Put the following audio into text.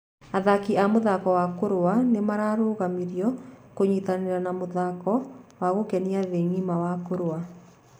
Athaki a mũthako wa kũrũa nĩ mararũgamirio kũnyitanĩra na Mũthako wa gũkenia nthĩĩ ngima wa kũrũa.